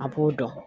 A b'o dɔn